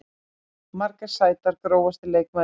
Margar sætar Grófasti leikmaður deildarinnar?